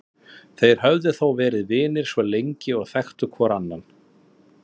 Þeir höfðu þó verið vinir svo lengi og þekktu hvor annan.